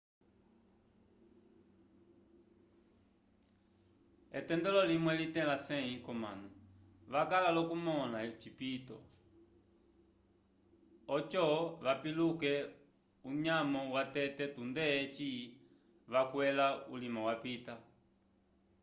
etendelo limwe litẽla 100 k'omanu vakala l'okumõla ocipito oco vapiluke unyamo watete tunde eci vakwẽla ulima wapita